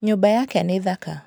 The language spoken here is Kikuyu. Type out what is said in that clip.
Nyũmba yake nĩ thaka.